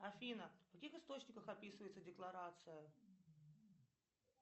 афина в каких источниках описывается декларация